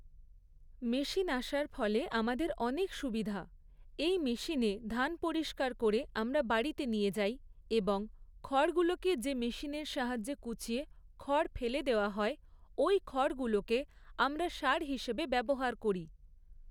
Machine আসার ফলে আমাদের অনেক সুবিধা, এই মেশিনে ধান পরিষ্কার করে আমরা বাড়িতে নিয়ে যাই এবং খড়গুলোকে যে মেশিনের সাহায্য়ে কুচিয়ে খড় ফেলে দেওয়া হয়, ওই খড়গুলোকে আমরা সার হিসেবে ব্যবহার করি।